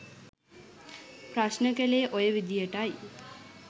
ප්‍රශ්න කලේ ඔය විදියටයි.